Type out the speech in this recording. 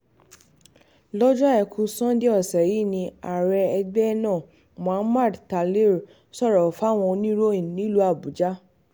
lọ́jọ́ àìkú sanńdé ọ̀sẹ̀ yìí ni ààrẹ ẹgbẹ́ náà muhammad talir sọ̀rọ̀ yìí fáwọn oníròyìn nílùú àbújá